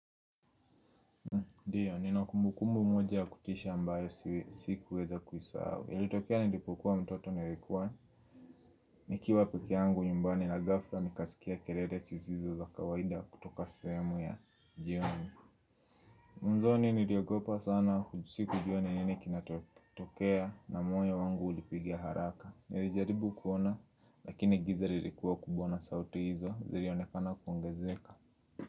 Ndiyo, nina kumbukumbu moja ya kutisha ambayo sikuweza kuisahau.ilitokea nilipokuwa mtoto nilikuwa. Nikiwa pekeangu nyumbani na ghafla nikaskia kelele zizo za kawaida kutoka sehemu ya jioni. Mwanzoni niliogopa sana ju sikujua ni nini kinatokea na moyo wangu ulipiga haraka. Nilijaribu kuona lakini giza nilikuwa kubwa na sauti hizo zilionekana kuongezeka.